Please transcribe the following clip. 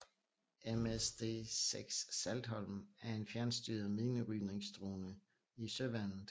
MSD6 Saltholm er en fjernstyret minerydningsdrone i Søværnet